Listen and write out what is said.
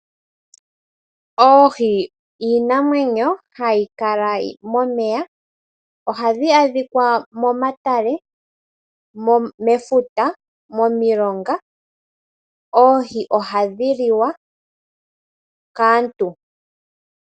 Oohi iinamwenyo hayi kala momeya ohadhi adhikwa momatale, mefuta nomomilonga. Oohi ohadhi liwa kaaantu.